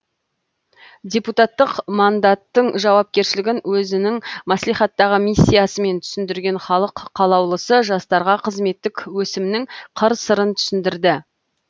депутаттық мандаттың жауапкершілігін өзінің мәслихаттағы миссиясымен түсіндірген халық қалаулысы жастарға қызметтік өсімнің қыр сырын түсіндірді